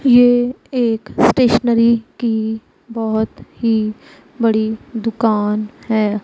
ये एक स्टेशनरी की बहोत ही बड़ी दुकान है।